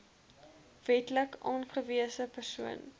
wetlik aangewese persoon